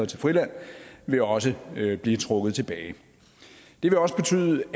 til friland vil også blive trukket tilbage det vil også betyde